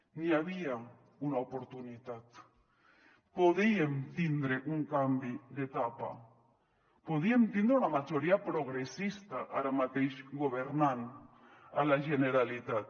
n’hi havia una oportunitat podíem tindre un canvi d’etapa podíem tindre una majoria progressista ara mateix governant a la generalitat